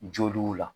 Joliw la